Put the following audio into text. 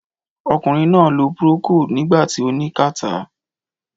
Ọkùnrin náà lo Procold nígbà tí ó ní kàtá.